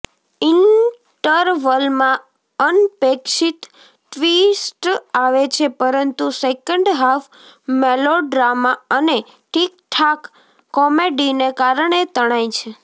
ઈન્ટરવલમાં અનપેક્ષિત ટ્વીસ્ટ આવે છે પરંતુ સેકન્ડ હાફ મેલોડ્રામા અને ઠીકઠાક કોમેડીને કારણે તણાય છે